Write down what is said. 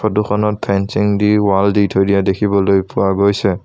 Photo খনত fencing দি wall দি থৈ দিয়া দেখিবলৈ পোৱা গৈছে।